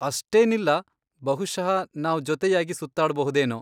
ಅಷ್ಟೇನಿಲ್ಲ. ಬಹುಶಃ ನಾವ್ ಜೊತೆಯಾಗಿ ಸುತ್ತಾಡ್ಬಹುದೇನೋ.